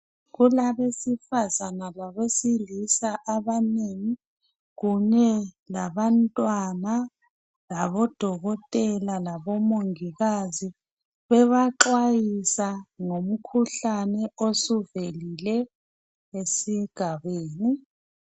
Kulabesifazana labesilisa abanengi kunye labantwana labodokotela labomongikazi bebaxwayisa ngomkhuhlane osuvelile esigabeni.